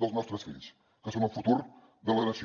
dels nostres fills que són el futur de la nació